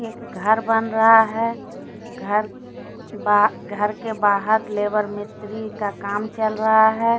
घर बन रहा है घर बाह घर के बाहर लेबर मिस्त्री का काम चल रहा है।